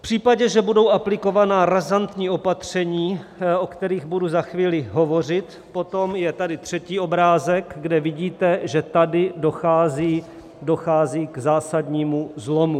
V případě, že budou aplikována razantní opatření, o kterých budu za chvíli hovořit, potom je tady třetí obrázek , kde vidíte, že tady dochází k zásadnímu zlomu.